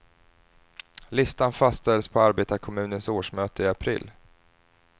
Listan fastställs på arbetarkommunens årsmöte i april.